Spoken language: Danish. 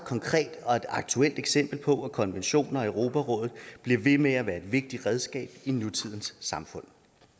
aktuelt eksempel på at konventioner i europarådet bliver ved med at være et vigtigt redskab i nutidens samfund